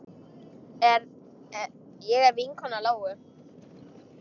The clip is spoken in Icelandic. Ég er vinkona Lóu.